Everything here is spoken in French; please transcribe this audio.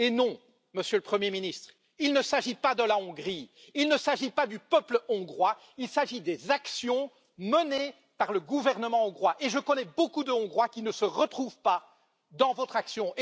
Eh non, Monsieur le Premier ministre, il ne s'agit pas de la Hongrie, il ne s'agit pas du peuple hongrois, il s'agit des actions menées par le gouvernement hongrois, et je connais beaucoup de Hongrois qui ne se retrouvent pas dans votre action.